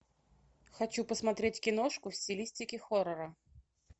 хочу посмотреть киношку в стилистике хоррора